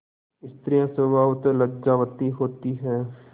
स्त्रियॉँ स्वभावतः लज्जावती होती हैं